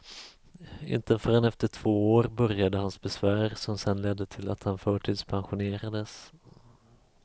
Inte förrän efter två år började hans besvär som sedan ledde till att han förtidspensionerades.